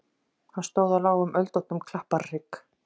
Hann stóð á lágum öldóttum klapparhrygg.